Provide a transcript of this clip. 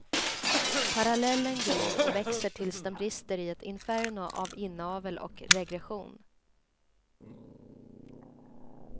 Parallellen gror och växer tills den brister i ett inferno av inavel och regression.